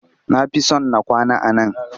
Na fi son na kwana a nan